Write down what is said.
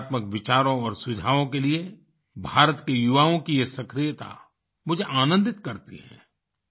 सकारात्मक विचारों और सुझावों के लिए भारत के युवाओं की ये सक्रियता मुझे आनंदित करती है